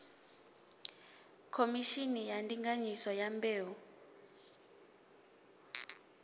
khomishini ya ndinganyiso ya mbeu